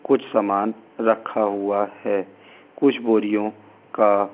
कुछ सामान रखा हुआ है कुछ बोरियों का रंग सफे ।